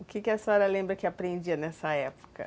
O que a senhora lembra que aprendia nessa época?